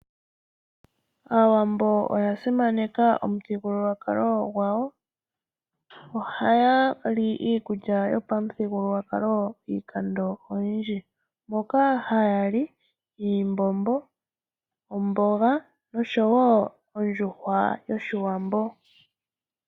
Aawambo oya simaneka omuthigululwakalo gwawo. Ohayali iikulya yopamuthigululwakalo iikando oyindji moka hayali iimbombo, omboga, oshowo ondjuhwa yoshiwambo.